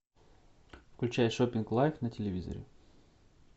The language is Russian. включай шоппинг лайф на телевизоре